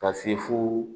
Ka se fo